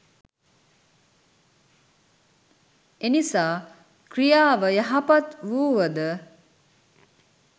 එනිසා ක්‍රියාව යහපත් වුවද